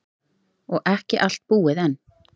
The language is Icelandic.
Og ekki allt búið enn.